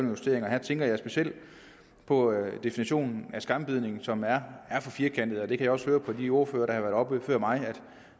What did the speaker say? justeringer og her tænker jeg specielt på definitionen af skambidning som er for firkantet jeg kan også høre på de ordførere der har været oppe før mig